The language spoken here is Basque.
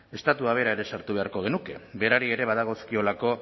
estatua bera ere sartu beharko genuke berari ere badagozkiolako